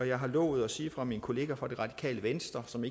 jeg har lovet at sige fra min kollega fra det radikale venstre som